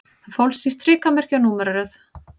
Það fólst í strikamerki og númeraröð